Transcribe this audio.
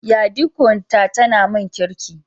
Yadiko ta tana mun Kirki.